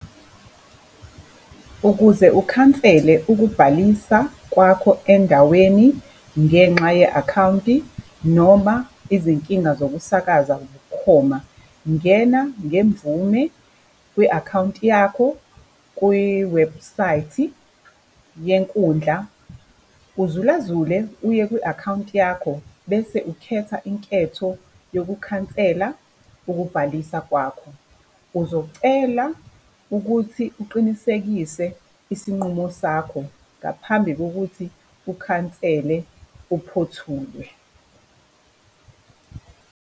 Ukuze ukhansele ukubhalisa kwakho endaweni ngenxa ye-akhawunti noma izinkinga zokusakaza bukhoma, ngena ngemvume kwi-akhawunti yakho kwiwebhusayithi yenkundla, uzulazule uye kwi-akhawunti yakho, bese ukhetha inketho yokukhansela ukubhalisa kwakho. Uzocela ukuthi uqinisekise isinqumo sakho ngaphambi kokuthi ukhansele uphothulwe.